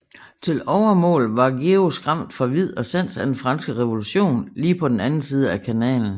Til overmål var Georg skræmt fra vid og sans af den franske revolution lige på den anden side af kanalen